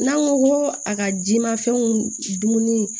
N'an ko ko a ka jimafɛnw dumuni